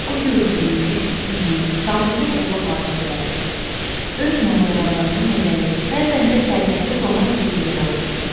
O gördüyü, eşitdiyi, şahidi olduğu hadisələri, öz macəralarını məzəli, bəzən də fəlsəfi roman dili ilə danışırdı.